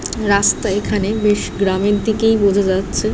রাস্তা এখানে বেশ গ্রামের দিকেই বোঝা যাচ্ছে ।